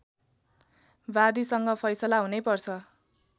वादीसँग फैसला हुनै पर्छ